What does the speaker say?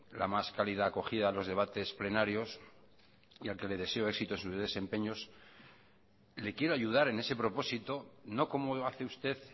la más cálida acogida a los debates plenarios y al que le deseo éxito en sus desempeños le quiero ayudar en ese propósito no como hace usted